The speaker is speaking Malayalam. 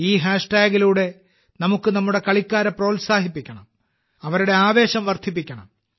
ഈ ഹാഷ്ടാഗിലൂടെ നമുക്ക് നമ്മുടെ കളിക്കാരെ പ്രോത്സാഹിപ്പിക്കണം അവരുടെ ആവേശം വർധിപ്പിക്കണം